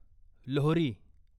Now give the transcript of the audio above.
Lohri